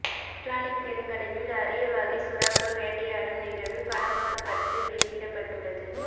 Atlantic பெருங்கடலில் அரிய வகை சுறாக்கள் வேட்டையாடும் நிகழ்வு படமாக்கப்பட்டு வெளியிடப்பட்டுள்ளது